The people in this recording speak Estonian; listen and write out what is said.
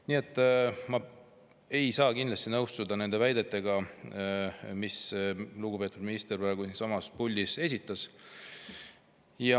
Nii et ma ei saa kindlasti nõustuda nende väidetega, mis lugupeetud minister praegu siinsamas puldis esitas.